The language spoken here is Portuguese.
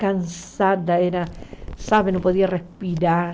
Cansada, era... Sabe, não podia respirar.